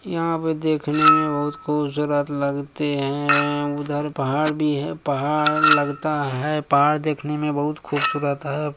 यहाँ पर देखने में बहुत खुबसुरत लगते है उधर पहाड़ भी है पहाड़ लगता है पहाड़ देखने में बहुत खुबसूरत है।